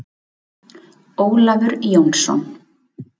Ólafur Jónsson.